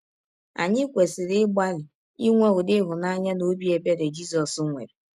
Anyị kwesịrị ịgbalị inwe ụdị ịhụnanya na ọbi ebere Jizọs nwere.